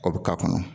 O bɛ k'a kɔnɔ